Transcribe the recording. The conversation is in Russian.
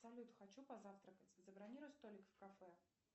салют хочу позавтракать забронируй столик в кафе